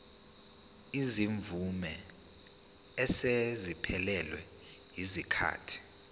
izimvume eseziphelelwe yisikhathi